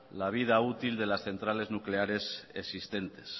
la vida útil de las centrales nucleares existentes